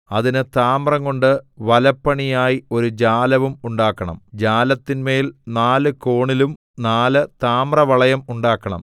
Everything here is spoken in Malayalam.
അതിന് താമ്രംകൊണ്ട് വലപ്പണിയായി ഒരു ജാലവും ഉണ്ടാക്കണം ജാലത്തിന്മേൽ നാല് കോണിലും നാല് താമ്രവളയം ഉണ്ടാക്കണം